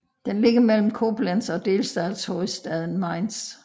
Den ligger mellem Koblenz og delstatshovedstaden Mainz